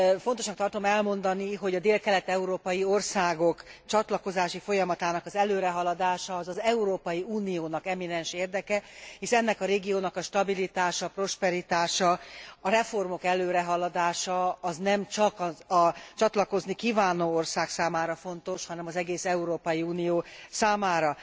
Fontosnak tartom elmondani, hogy a délkelet európai országok csatlakozási folyamatának előrehaladása az Európai Uniónak eminens érdeke, hisz ennek a régiónak a stabilitása, prosperitása, a reformok előrehaladása, nemcsak a csatlakozni kívánó ország számára fontos, hanem az egész Európai Unió számára.